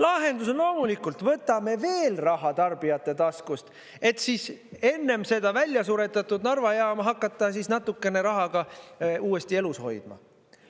Lahendus on loomulikult see, et võtame veel raha tarbijate taskust, et enne seda välja suretatud Narva jaama hakata natukese rahaga uuesti elus hoidma.